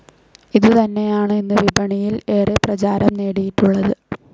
ഇതുതന്നെയാണ് ഇന്നും വിപണിയിൽ ഏറെ പ്രചാരം നേടിയിട്ടുള്ളത്.